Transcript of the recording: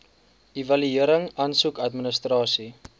evaluering asook administrasie